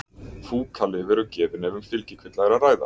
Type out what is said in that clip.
Fúkalyf eru gefin ef um fylgikvilla er að ræða.